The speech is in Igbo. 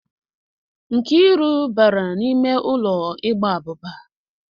Nkiru bara n'ime ulo ịgba abuba.